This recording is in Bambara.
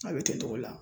A bɛ kɛ togo la